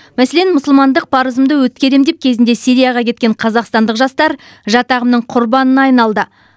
мәселен мұсылмандық парызымды өткеремін деп кезінде сирияға кеткен қазақстандық жастар жат ағымның құрбанына айналды